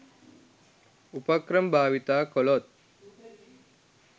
උපක්‍රම භාවිතා කළොත්